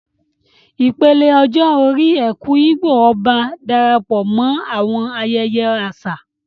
Ìpele ọjọ́ orí "Eku-Igbo-Oba" Darapọ̀ mọ́ àwọn ayẹyẹ àṣà